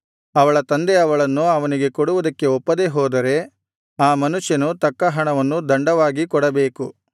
ಅವಳ ತಂದೆ ಅವಳನ್ನು ಅವನಿಗೆ ಕೊಡುವುದಕ್ಕೆ ಒಪ್ಪದೇ ಹೋದರೆ ಆ ಮನುಷ್ಯನು ತಕ್ಕ ಹಣವನ್ನು ದಂಡವಾಗಿ ಕೊಡಬೇಕು